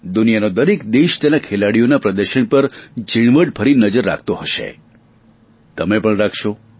દુનિયાનો દરેક દેશ તેના ખેલાડીઓના પ્રદર્શન પર ઞીણવટ ભરી નજર રાખતો હશે તમે પણ રાખશો